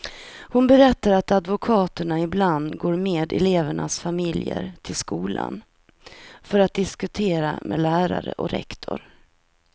Hon berättar att advokaterna ibland går med elevernas familjer till skolan, för att diskutera med lärare och rektor.